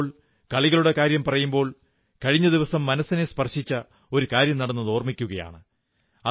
ഇന്നിപ്പോൾ കളികളുടെ കാര്യം പറയുമ്പോൾ കഴിഞ്ഞ ദിവസം മനസ്സിനെ സ്പർശിച്ച ഒരു കാര്യം നടന്നത് ഓർമ്മിക്കയാണ്